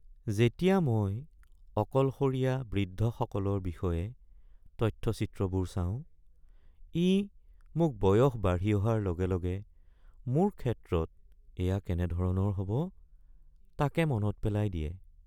যেতিয়া মই অকলশৰীয়া বৃদ্ধসকলৰ বিষয়ে তথ্যচিত্ৰবোৰ চাওঁ, ই মোক বয়স বাঢ়ি অহাৰ লগে লগে মোৰ ক্ষেত্ৰত এয়া কেনেধৰণৰ হ'ব তাকে মনত পেলাই দিয়ে।